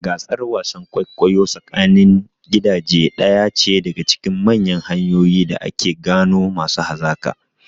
Gasar wasan kwaikwayo tsakanin gidaje ɗaya ce daga cikin manyan hanyoyin da ake gano masu hazaƙa.